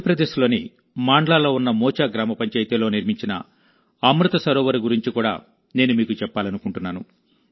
మధ్యప్రదేశ్లోని మాండ్లాలో ఉన్న మోచా గ్రామ పంచాయతీలో నిర్మించిన అమృత్ సరోవర్ గురించి కూడా నేను మీకు చెప్పాలనుకుంటున్నాను